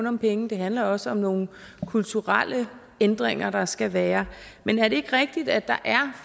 om penge det handler også om nogle kulturelle ændringer der skal være men er det ikke rigtigt at der